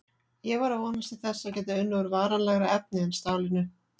Ég var að vonast til þess að geta unnið úr varanlegra efni en stálinu.